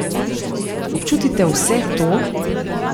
Občutite vse to?